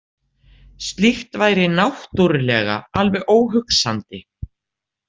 Slíkt væri náttúrlega alveg óhugsandi